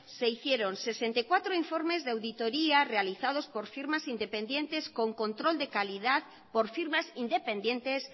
se hicieron sesenta y cuatro informes de auditorías realizados por firmas independientes